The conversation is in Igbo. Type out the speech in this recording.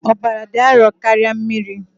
Ọbara dị arọ karịa mmiri.